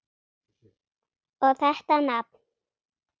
Og þetta nafn!